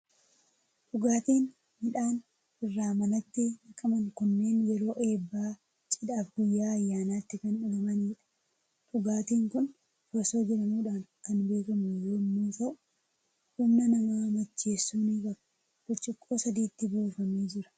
Dhugaatiin midhaan irraa manatti naqaman kunneen yeroo eebbaa, cidhaa fi guyyaa ayyaanaatti kan dhugamanidha. Dhugaatiin kun farsoo jedhamuudhaan kan beekamu yommuu ta'u, humna nama macheessuu ni qaba. Burcuqqoo sadiitti buufamee jira.